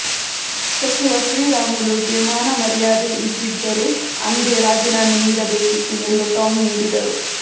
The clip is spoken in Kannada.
ಸಚಿವ ಶ್ರೀರಾಮುಲುಗೆ ಮಾನಮರ್ಯಾದೆ ಇದ್ದಿದ್ದರೇ ಅಂದೇ ರಾಜೀನಾಮೆ ನೀಡಬೇಕಿತ್ತು ಎಂದು ಟಾಂಗ್ ನೀಡಿದರು